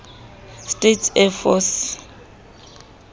states air force